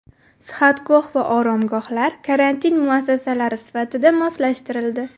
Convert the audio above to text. Sihatgoh va oromgohlar karantin muassasalari sifatida moslashtirildi.